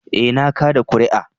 Eh, na kada kuri'a.